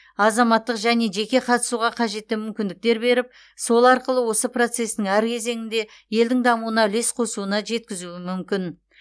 азаматтық және жеке қатысуға қажетті мүмкіндіктер беріп сол арқылы осы процестің әр кезеңінде елдің дамуына үлес қосуына жеткізуі мүмкін